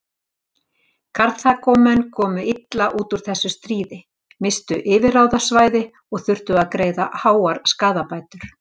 Karþagómenn komu illa út úr þessu stríði, misstu yfirráðasvæði og þurftu að greiða háar skaðabætur.